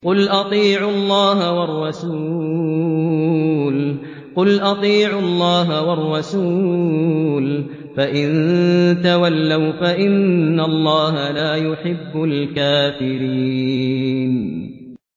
قُلْ أَطِيعُوا اللَّهَ وَالرَّسُولَ ۖ فَإِن تَوَلَّوْا فَإِنَّ اللَّهَ لَا يُحِبُّ الْكَافِرِينَ